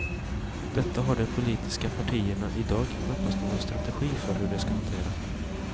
Detta har de politiska partierna i dag knappast någon strategi för hur de ska hantera.